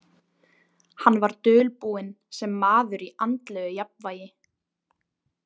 Hann var dulbúinn sem maður í andlegu jafnvægi.